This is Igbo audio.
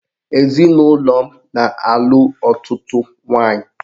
Ezinụlọ m na-alụ ọtụtụ nwaanyị